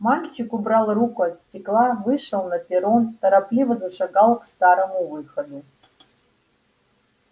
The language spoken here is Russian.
мальчик убрал руку от стекла вышел на перрон торопливо зашагал к старому выходу